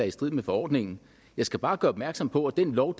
i strid med forordningen jeg skal bare gøre opmærksom på at den lov